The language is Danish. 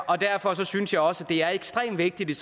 og derfor synes jeg også at det er ekstremt vigtigt